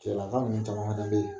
Cɛlaka minnu caman fana bɛ yen